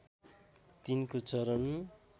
तिनको चरन